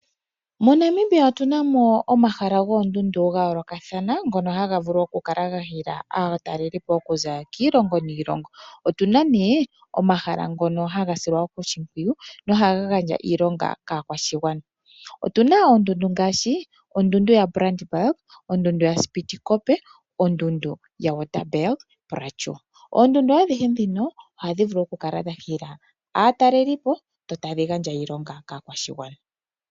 MoNamibia otuna mo omahala goondundu gayoolokathana ngono haga vulu okukala gahila aatalelipo okuza kiilongo niilongo. Otuna omahala ngono haga silwa wo oshimpwiyu nohaga gandja iilonga kaakwashigwana. Otuna oondundu ngaashi ondundu yaBrandBerg, ondundu ySpitzkoppe , ondundu yaWaterberg. Oondundu adhihe ndhino ohadhi vulu okukala dhahila aatalelipo, dho tadhi gandja iilonga kaakwashigwana.